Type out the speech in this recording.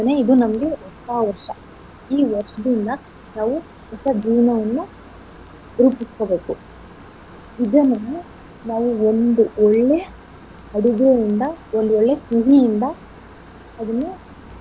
ಇದು ನಮ್ಗೆ ಹೊಸ ವರ್ಷ. ಈ ವರ್ಷದಿಂದ ನಾವು ಹೊಸ ಜೀವನವನ್ನ ರೂಪಿಸ್ಕೋಬೇಕು. ಇದನ್ನ ನಾವು ನಾವು ಒಂದ್ ಒಳ್ಳೆ ಅಡುಗೆಯಿಂದ ಒಂದ್ ಒಳ್ಳೆ ಸಿಹಿಯಿಂದ ಅದನ್ನ.